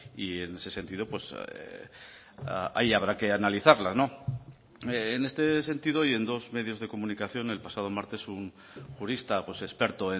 y en ese sentido ahí habrá que analizarlas en este sentido y en dos medios de comunicación el pasado martes un jurista experto